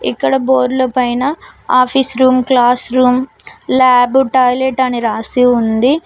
ఇక్కడ బోర్డ్ల పైన office room class room lab toilet అని రాసి ఉంది.